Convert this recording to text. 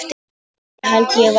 Nei það held ég varla.